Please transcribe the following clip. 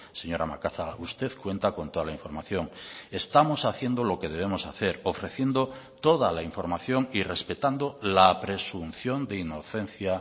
señora macazaga usted cuenta con toda la información estamos haciendo lo que de vemos hacer ofreciendo toda la información y respetando la presunción de inocencia